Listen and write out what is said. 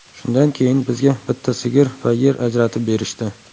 Shundan keyin bizga bitta sigir va yer ajratib berishdi.